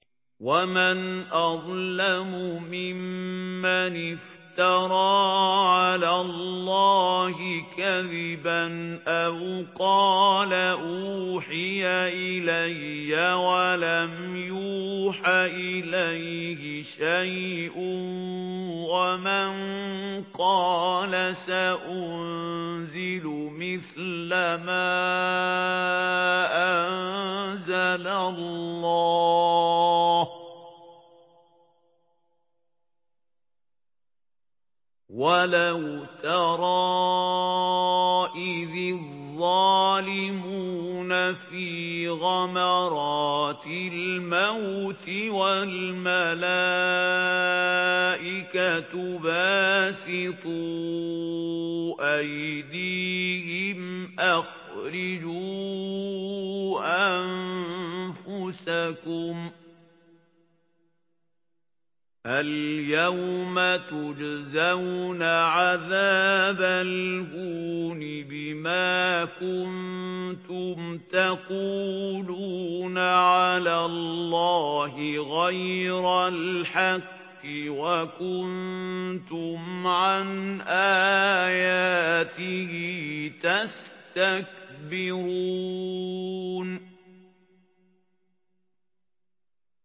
وَمَنْ أَظْلَمُ مِمَّنِ افْتَرَىٰ عَلَى اللَّهِ كَذِبًا أَوْ قَالَ أُوحِيَ إِلَيَّ وَلَمْ يُوحَ إِلَيْهِ شَيْءٌ وَمَن قَالَ سَأُنزِلُ مِثْلَ مَا أَنزَلَ اللَّهُ ۗ وَلَوْ تَرَىٰ إِذِ الظَّالِمُونَ فِي غَمَرَاتِ الْمَوْتِ وَالْمَلَائِكَةُ بَاسِطُو أَيْدِيهِمْ أَخْرِجُوا أَنفُسَكُمُ ۖ الْيَوْمَ تُجْزَوْنَ عَذَابَ الْهُونِ بِمَا كُنتُمْ تَقُولُونَ عَلَى اللَّهِ غَيْرَ الْحَقِّ وَكُنتُمْ عَنْ آيَاتِهِ تَسْتَكْبِرُونَ